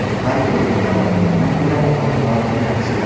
Varikozni davolagandan ko‘ra, oldini olgan yaxshi.